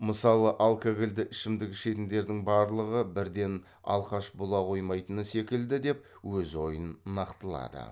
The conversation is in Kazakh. мысалы алкагольді ішімдік ішетіндердің барлығы бірден алқаш бола қоймайтыны секілді деп өз ойын нақтылады